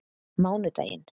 mánudaginn